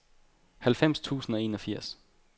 halvfems tusind og enogfirs